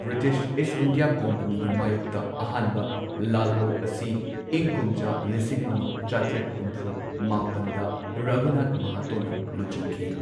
British East India ꯀꯝꯄꯅꯤꯒꯤ ꯃꯥꯢꯌꯣꯛꯇ ꯑꯍꯥꯟꯕ ꯂꯥꯜꯍꯧ ꯑꯁꯤ ꯏꯪ ꯀꯨꯝꯖꯥ ꯂꯤꯁꯤꯡ ꯑꯃ ꯆꯥꯇ꯭ꯔꯦꯠ ꯍꯨꯝꯐꯨ ꯃꯥꯄꯟꯗ ꯔꯘꯨꯅꯥꯊ ꯃꯍꯥꯇꯣꯅ ꯂꯨꯆꯤꯡꯈꯤ꯫